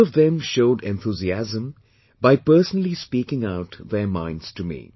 All of them showed enthusiasm by personally speaking out their minds to me